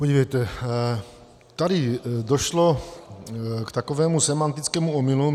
Podívejte, tady došlo k takovému sémantickému omylu.